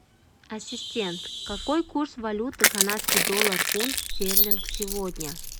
ассистент какой курс валюты канадский доллар фунт стерлинг сегодня